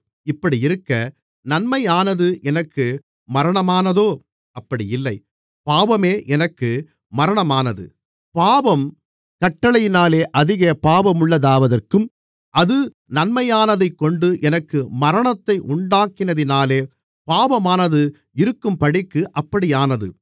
இப்படியிருக்க நன்மையானது எனக்கு மரணமானதோ அப்படி இல்லை பாவமே எனக்கு மரணமானது பாவம் கட்டளையினாலே அதிக பாவமுள்ளதாவதற்கும் அது நன்மையானதைக்கொண்டு எனக்கு மரணத்தை உண்டாக்கினதினாலே பாவமாகவே இருக்கும்படிக்கும் அப்படியானது